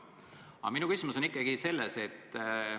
Aga minu küsimus on selline.